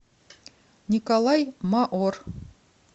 николай маор